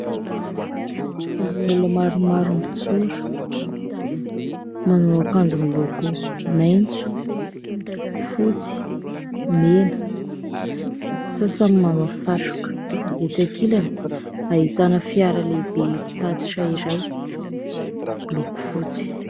Vondron'olona maromaro mijoro manao ankanjo miloko, maitso, fotsy, mena. Ny sasany manao satroka. Etsy ankilany ahitana fiara lehibe mpitatitra iray miloko fotsy.